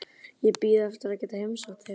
Ég bíð eftir að geta heimsótt þig.